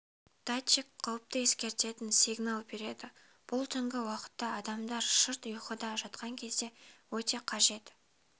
датчик қауіпті ескертетін сигнал береді бұл түнгі уақытта адамдар шырт ұйқыда жатқан кезде өте қажет